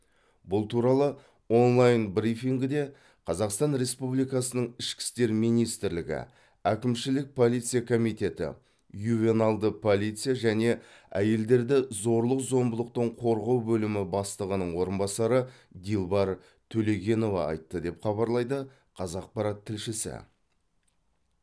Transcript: бұл туралы онлайн брифингіде қазақстан республикасының ішкі істер министрлігі әкімшілік полиция комитеті ювеналды полиция және әйелдерді зорлық зомбылықтан қорғау бөлімі бастығының орынбасары дилбар төлегенова айтты деп хабарлайды қазақпарат тілшісі